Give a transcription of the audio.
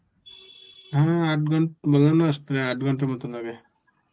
হ্যাঁ আট ঘন~ ধরে নাও উম আট ঘন্টার মতন লাগে.